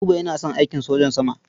Buba yana son aikin sojan sama.